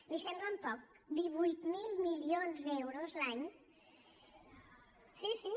li semblen poc divuit mil milions d’euros l’any sí sí